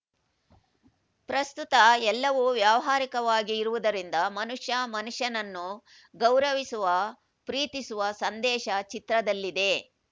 ಪ್ರಸ್ತುತ ಎಲ್ಲವೂ ವ್ಯಾವಹಾರಿಕವಾಗಿ ಇರುವುದರಿಂದ ಮನುಷ್ಯ ಮನುಷ್ಯನನ್ನು ಗೌರವಿಸುವ ಪ್ರೀತಿಸುವ ಸಂದೇಶ ಚಿತ್ರದಲ್ಲಿದೆ